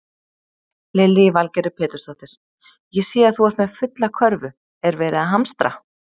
Lillý Valgerður Pétursdóttir: Ég sé að þú ert með fulla körfu, er verið að hamstra?